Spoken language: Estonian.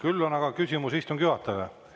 Küll on aga küsimus istungi juhatajale.